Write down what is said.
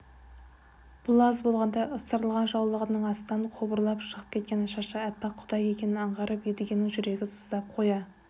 бұл аз болғандай ысырылған жаулығының астынан қобырап шығып кеткен шашы аппақ қудай екенін аңғарып едігенің жүрегі сыздап қоя